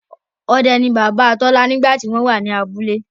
Ọdẹ ní Bàbá Tola nígbà tí wọ́n wà ní abúlé